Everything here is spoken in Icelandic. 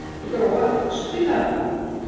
Gróa, spilaðu lag.